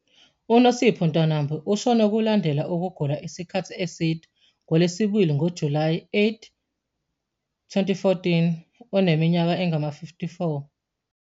UNosipho Ntwanambi ushone kulandela ukugula isikhathi eside ngoLwesibili, ngoJulayi 8, 2014, eneminyaka engama-54.